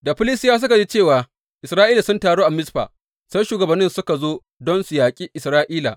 Da Filistiyawa suka ji cewa Isra’ila sun taru a Mizfa, sai shugabanninsu suka zo don su yaƙe Isra’ila.